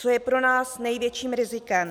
Co je pro nás největším rizikem?